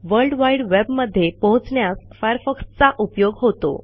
world wide वेबमध्ये पोहोचण्यास फायरफॉक्सचा उपयोग होतो